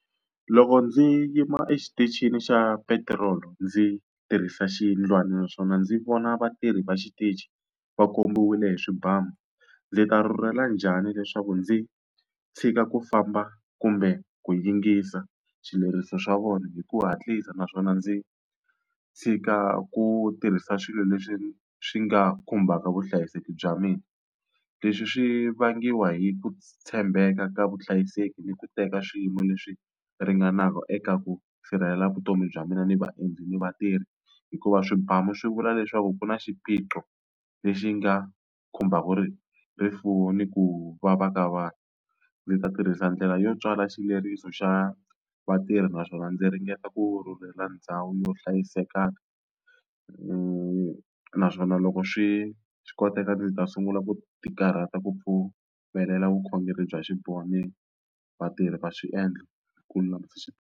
Loko ndzi yima exitichini xa petiroli ndzi tirhisa xiyindlwana naswona ndzi vona vatirhi va xitichi va kombiwile hi swibamu, ndzi ta rhurhela njhani leswaku ndzi tshika ku famba kumbe ku yingisa swileriso swa vona hi ku hatlisa. Naswona ndzi tshika ku tirhisa swilo leswi swi nga khumbaka vuhlayiseki bya mina. Leswi swi vangiwa hi ku tshembeka ka vuhlayiseki ni ku teka swiyimo leswi ringanaka eka ku sirhelela vutomi bya mina, ni vaendzi, ni vatirhi. Hikuva swibamu swi vula leswaku ku na xiphiqo lexi nga khumbaku rifuwo ni ku vava ka vanhu. Ndzi ta tirhisa ndlela yo tswala xileriso xa vatirhi naswona ndzi ringeta ku rhurhela ndhawu yo hlayisekanga. Naswona loko swi swi koteka ndzi ta sungula ku ti karhata ku pfumelela vukhongeri bya , vatirhi va swiendlo, ku lulamisa .